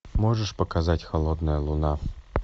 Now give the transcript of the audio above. можешь показать холодная луна